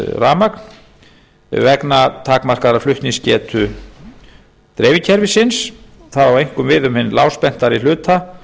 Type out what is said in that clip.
rafmagn vegna takmarkaðrar flutningsgetu dreifikerfisins það á einkum við um hinn lágspenntari hluta